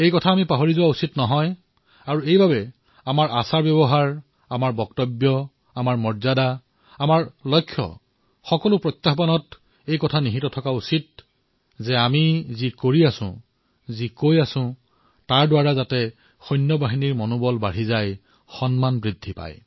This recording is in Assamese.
এই কথা আমি কেতিয়াও পাহৰিব নালাগে আৰু সেয়ে আমাৰ আচাৰব্যৱহাৰ আমাৰ বাণী আমাৰ বক্তব্য আমাৰ মৰ্যাদা আমাৰ লক্ষ্য এই সকলো কথা এনেদৰে লক্ষ্য ৰাখিব লাগে যে যি কৰিছো যি কৈছো তাৰ দ্বাৰা যাতে সৈনিকসকলৰ মনোবল বৃদ্ধি হয় তেওঁলোকৰ সন্মান বৃদ্ধি হয়